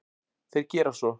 Þeir gera svo.